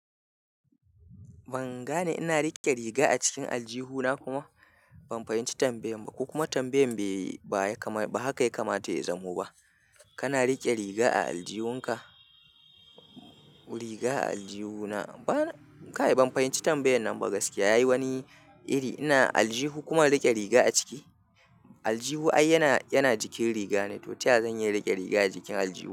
Ban gane ina riƙe riga a cikin aljihu na kuma ban fahimci tambayan ba. Ko kuma tambayan bai ba ya kama ba haka ya kamata ya zamo ba. Kana rike riga a aljihunka, riga a aljihu na, ban, kai ban fahimci tambayan nan ba gaskiya yayi wani iri ina aljihu kuma riƙe riga a ciki. Aljihu ai yana jikin riga ne, to ta yaya zan iya riƙe riga a jikin aljihu?